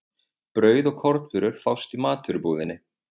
Brauð og kornvörur fást í matvörubúðinni.